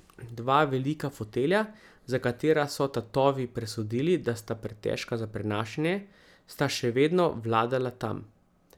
Dva velika fotelja, za katera so tatovi presodili, da sta pretežka za prenašanje, sta še vedno vladala tam.